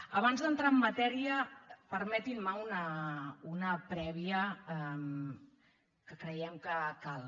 abans d’entrar en matèria permetin me una prèvia que creiem que cal